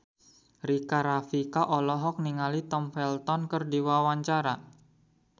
Rika Rafika olohok ningali Tom Felton keur diwawancara